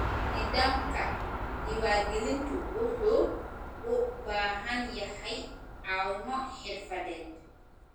Nidaamka diiwaangelintu wuxuu u baahan yahay caawimo xirfadeed.